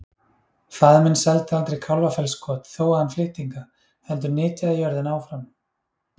Faðir minn seldi aldrei Kálfafellskot þó að hann flytti hingað, heldur nytjaði jörðina áfram.